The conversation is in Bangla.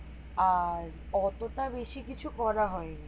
আর অতো টা বেশি কিছু করা হয় নি